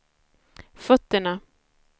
fötterna